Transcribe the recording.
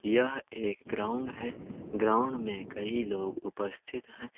यह एक ग्राउंड है ग्राउंड में कई लोग उपस्थित हैं।